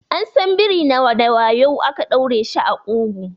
An san biri na da wuya ake ɗaure shi a ƙugu.